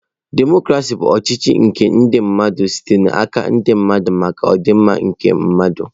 Demọcrasị bụ ọchịchị nke ndi mmadu site na ndi mmadu maka ọdịmma nke mmadụ.